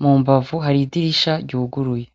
mumbavu har'idirisha ryuguruye .